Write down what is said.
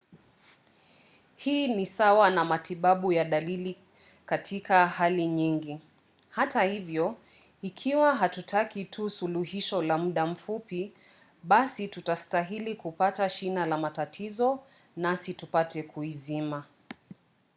hii ni sawa na matibabu ya dalili katika hali nyingi. hata hivyo ikiwa hatutaki tu suluhisho la muda mfupi basi tunastahili kupata shina la matatizo nasi tupate kuizima